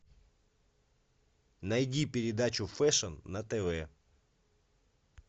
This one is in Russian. найди передачу фэшн на тв